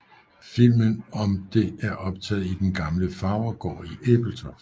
Filmen om det er optaget i den gamle farvergård i Ebeltoft